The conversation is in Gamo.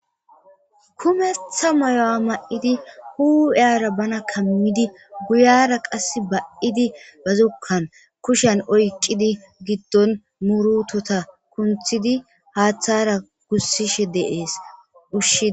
Kumetha mayo mayidi huphera bana kamidi guyera kase ba'idi ba zokuwan kushen oykidi gidon murutata kunthidi haathara gusishe de'es.